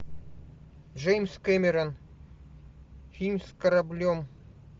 джеймс кэмерон фильм с кораблем